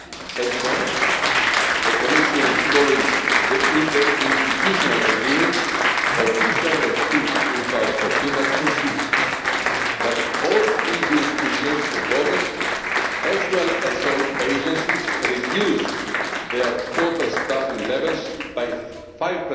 As you know, the Commission is following the interinstitutional agreement of December 2013 that foresees that all EU institutions and bodies as well as all agencies reduce their total staffing levels